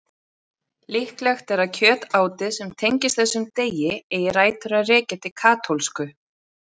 Líklegt er að kjötátið sem tengist þessum degi eigi rætur að rekja til katólsku.